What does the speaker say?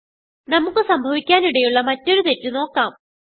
നമുക്ക് സംഭവിക്കാനിടയുള്ള മറ്റൊരു തെറ്റ് നോക്കാം